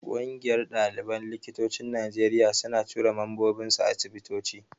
Ƙungiyar ɗaliban likitocin Najeriya suna tura mambobinsu asibitoci.